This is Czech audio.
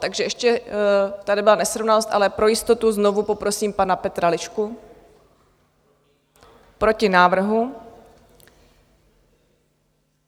Takže ještě tady byla nesrovnalost, ale pro jistotu znovu poprosím pana Petra Lišku: Proti návrhu.